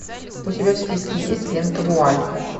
у тебя в списке есть лента вуаль